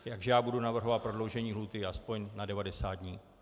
Takže já budu navrhovat prodloužení lhůty aspoň na 90 dní.